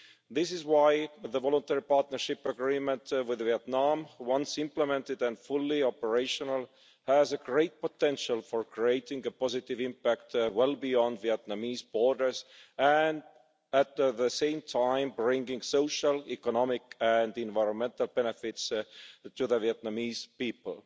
That is why the Voluntary Partnership Agreement with Vietnam, once implemented and fully operational, has great potential for creating a positive impact well beyond Vietnamese borders and, at the same time, bringing social, economic and environmental benefits to the Vietnamese people.